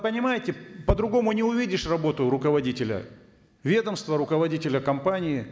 понимаете по другому не увидишь работу руководителя ведомства руководителя компании